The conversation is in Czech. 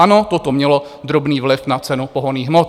Ano, toto mělo drobný vliv na cenu pohonných hmot.